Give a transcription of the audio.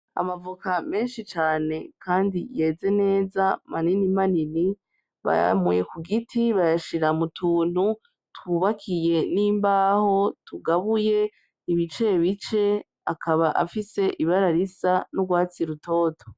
Amavoka meshi cane kandi yeze neza maninimanini bayamuye ku giti bayashira mu tuntu tw'ubakiye n'imbaho tugabuye ibicebice akaba afise ibara risa n'urwatsi rutoto.